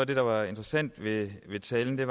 det der var interessant ved talen